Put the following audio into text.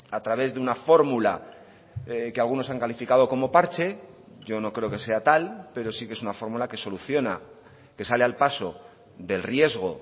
a través de una fórmula que algunos han calificado como parche yo no creo que sea tal pero sí que es una fórmula que soluciona que sale al paso del riesgo